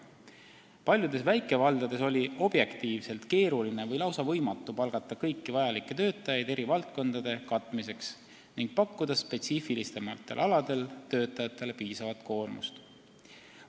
Paljudes väikevaldades oli objektiivselt keeruline või lausa võimatu palgata kõiki vajalikke töötajaid eri valdkondade katmiseks ning pakkuda spetsiifilisemate alade töötajatele piisavat koormust.